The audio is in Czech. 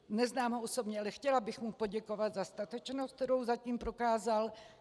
Neznám ho osobně, ale chtěla bych mu poděkovat za statečnost, kterou zatím prokázal.